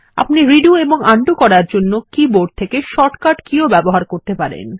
আপনি রেডো ও উন্ডো করার জন্য কী বোর্ড থেকে শর্ট কাট কী ও ব্যবহার করতে পারেন